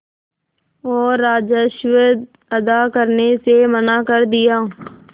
और राजस्व अदा करने से मना कर दिया